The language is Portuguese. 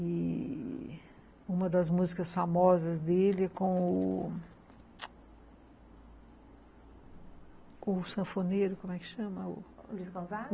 E uma das músicas famosas dele é com o... O sanfoneiro, como é que chama? Luiz Gonzaga?